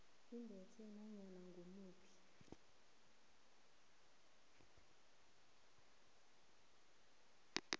ibethe nanyana ngimuphi